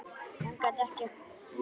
Hann gat ekkert sagt.